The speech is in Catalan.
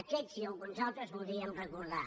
aquests i alguns altres voldríem recordar